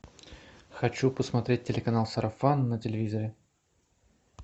хочу посмотреть телеканал сарафан на телевизоре